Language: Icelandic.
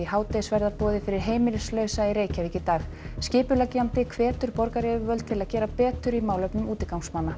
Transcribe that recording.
hádegisverðarboði fyrir heimilislausa í Reykjavík í dag skipuleggjandi hvetur borgaryfirvöld til að gera betur í málefnum útigangsmanna